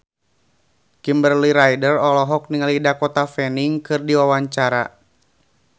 Kimberly Ryder olohok ningali Dakota Fanning keur diwawancara